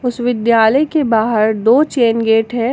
उस विद्यालय के बाहर दो चैन गेट है।